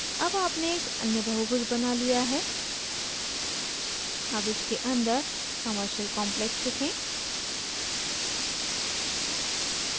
अब आपने एक अन्य बहुभुज बना लिया है अब इसके अंदर commercial complex लिखें